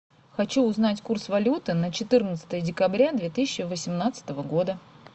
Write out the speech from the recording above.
хочу узнать курс валюты на четырнадцатое декабря две тысячи восемнадцатого года